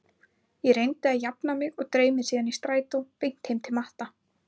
Ég reyndi að jafna mig og dreif mig síðan í strætó beint heim til Matta.